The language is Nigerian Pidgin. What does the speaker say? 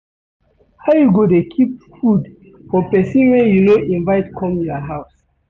How you go dey keep food for pesin wey you no invite come your house.